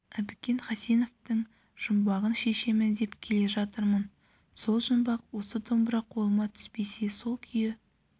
әбікен хасеновтің жұмбағын шешемін деп келе жатырмын сол жұмбақ осы домбыра қолыма түспесе сол күйі